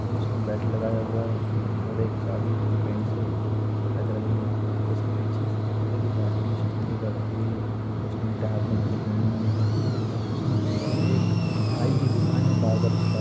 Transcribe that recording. और उसने बेल्ट लगाया हुआ है और एक चाबी उसकी पेंट से लटक रही है उसके पीछे सफेद कलर की बाल्टी स्टूल के ऊपर रखी हुई है उसने उल्टे हाथ में घड़ी पहनी हुई है और उसके पीछे एक नाई की दुकान है। बार्बर की शॉप --